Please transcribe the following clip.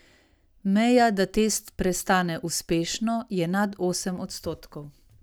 Meja, da test prestane uspešno, je nad osem odstotkov.